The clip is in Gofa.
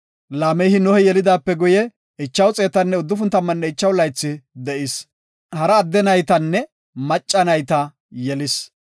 Laamehi Nohe yelidaape guye, 595 laythi de7is. Hara adde naytanne macca nayta yelis.